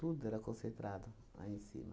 Tudo era concentrado aí em cima.